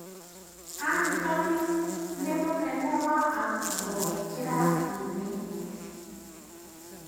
Antony nĩ mũnene wa arutuo kĩrathinĩ.